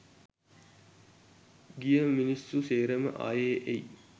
ගිය මිනිස්සු සේරම අයෙ එයි.